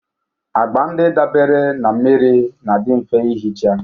Agba ndị dabeere na mmiri na-adị mfe ihicha